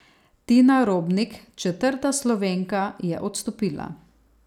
Tina Robnik, četrta Slovenka, je odstopila.